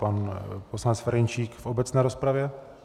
Pan poslanec Ferjenčík v obecné rozpravě?